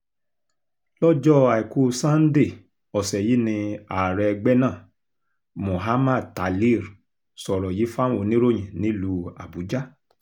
lọ́jọ́ àìkú sanńdé ọ̀sẹ̀ yìí ni ààrẹ ẹgbẹ́ náà muhammad talir sọ̀rọ̀ yìí fáwọn oníròyìn nílùú àbújá